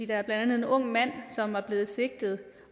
blandt andet en ung mand som er blevet sigtet